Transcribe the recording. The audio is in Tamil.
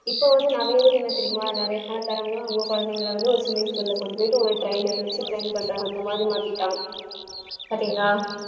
இப்போ வந்து நிறைய பேர் என்ன தெரியுமா நிறைய பணக்காரங்க அவங்க குழந்தைகளை வந்து ஒரு swimming pool ல கொண்டு போயிட்டு ஒரு trainer அ வச்சு train பண்றாங்க அந்த மாதிரி மாத்திட்டாங்க பாத்தீங்களா